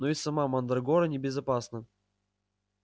но и сама мандрагора небезопасна